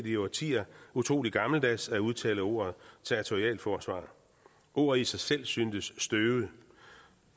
i årtier utrolig gammeldags at udtale ordet territorialforsvar ordet i sig selv syntes støvet